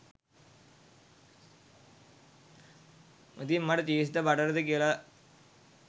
ඉතින් මට චීස් ද බටර්ද කියල